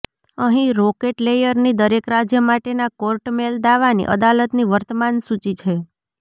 અહીં રોકેટ લેયરની દરેક રાજ્ય માટેના કોર્ટ મૅલ દાવાની અદાલતની વર્તમાન સૂચિ છે